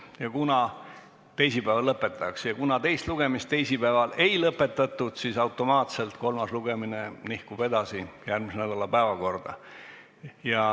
Ja kuna teist lugemist teisipäeval ei lõpetatud, siis automaatselt kolmas lugemine nihkub edasi järgmise nädala päevakorda.